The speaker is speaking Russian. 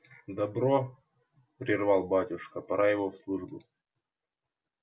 добро прервал батюшка пора его в службу